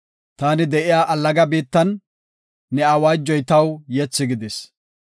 Taani de7iya allaga biittan ne awaajoy taw yethi gidis.